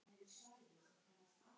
Elsku mamma, ég sakna þín.